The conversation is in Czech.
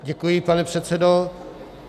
Děkuji, pane předsedo.